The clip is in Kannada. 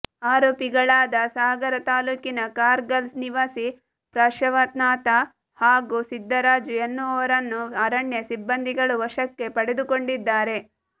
ಆರೋಪಿಗಳಾದ ಸಾಗರ ತಾಲೂಕಿನ ಕಾರ್ಗಲ್ ನಿವಾಸಿ ಪಾಶ್ರ್ವನಾಥ ಹಾಗೂ ಸಿದ್ಧರಾಜು ಎನ್ನುವವರನ್ನು ಅರಣ್ಯ ಸಿಬ್ಬಂದಿಗಳು ವಶಕ್ಕೆ ಪಡೆದುಕೊಂಡಿದ್ದಾರೆ